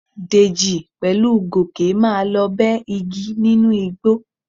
Dèjì pẹ̀lú Gòkè máa lọ bẹ́ igi nínú igbó.